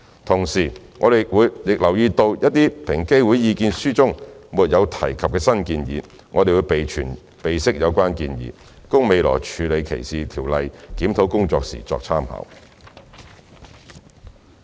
同時，我們亦留意到平機會的意見書中一些沒有提及的新建議，並備悉有關意見，供未來處理歧視條例檢討工作時參考。